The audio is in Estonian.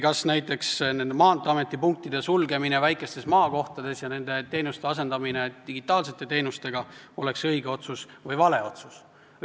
Kas näiteks nende Maanteeameti punktide sulgemine väikestes maakohtades ja teenuste asendamine digitaalsete teenustega oleks õige või vale otsus?